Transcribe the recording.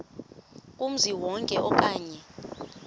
kumzi wonke okanye